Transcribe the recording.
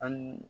An